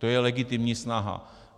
To je legitimní snaha.